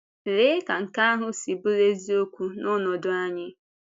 Lée ka nke ahụ si bụrụ eziokwu n’ọnọdụ anyị!